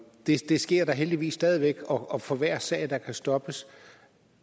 det sker da heldigvis stadig væk og for hver sag der kan stoppes